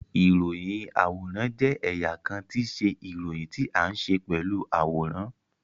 Iroyin-aworan jẹ ẹya kan ti iṣe iroyin ti a nṣe pelu aworan